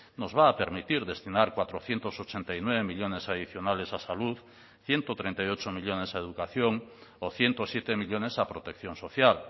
nos va a permitir destinar cuatrocientos ochenta y nueve millónes adicionales a salud ciento treinta y ocho millónes a educación o ciento siete millónes a protección social